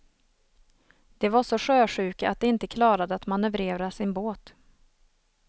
De var så sjösjuka att de inte klarade att manövrera sin båt.